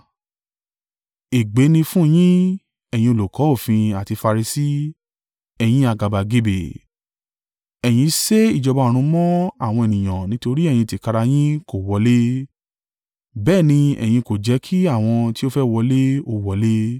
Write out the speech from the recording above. “Ègbé ni fún yín, ẹ̀yin olùkọ́ òfin àti Farisi, ẹ̀yin àgàbàgebè! Ẹ̀yin sé ìjọba ọ̀run mọ́ àwọn ènìyàn nítorí ẹ̀yin tìkára yín kò wọlé, bẹ́ẹ̀ ni ẹ̀yin kò jẹ́ kí àwọn tí ó fẹ́ wọlé ó wọlé.